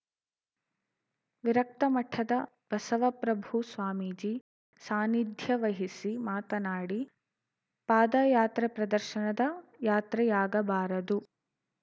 ವಿರಕ್ತಮಠದ ಬಸವಪ್ರಭು ಸ್ವಾಮೀಜಿ ಸಾನಿಧ್ಯವಹಿಸಿ ಮಾತನಾಡಿ ಪಾದಯಾತ್ರೆ ಪ್ರದರ್ಶನದ ಯಾತ್ರೆಯಾಗಬಾರದು